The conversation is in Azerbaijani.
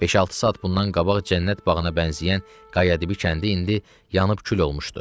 Beş-altı saat bundan qabaq cənnət bağına bənzəyən Qayadibi kəndi indi yanıb kül olmuşdu.